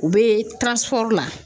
U bɛ la.